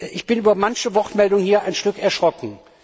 Ich bin über manche Wortmeldung hier ein wenig erschrocken.